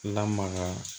Lamaga